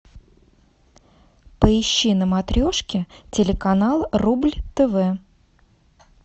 поищи на матрешке телеканал рубль тв